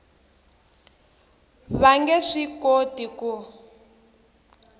va nge swi koti ku